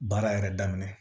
Baara yɛrɛ daminɛ